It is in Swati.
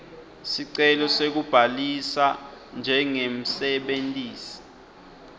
sicelo sekubhalisa njengemsebentisi